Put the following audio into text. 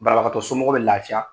Barabagatɔ somɔgɔw bɛ lafiya!